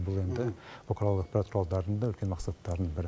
бұл енді бұқаралық ақпарат құралдарының да үлкен мақсаттарының бірі